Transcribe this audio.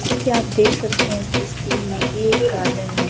जैसे कि आप देख सकते है इस तस्वीर में की एक गार्डन है।